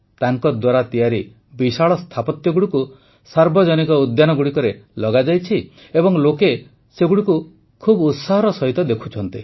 ତାଙ୍କଦ୍ୱାରା ତିଆରି ବିଶାଳ ସ୍ଥାପତ୍ୟଗୁଡ଼ିକୁ ସାର୍ବଜନୀକ ଉଦ୍ୟାନଗୁଡ଼ିକରେ ଲଗାଯାଇଛି ଏବଂ ଲୋକେ ସେଗୁଡ଼ିକୁ ବହୁତ ଉତ୍ସାହର ସହ ଦେଖୁଛନ୍ତି